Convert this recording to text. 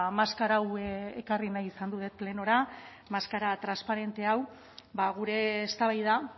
maskara hau ekarri nahi izan dut plenora maskara transparente hau gure eztabaida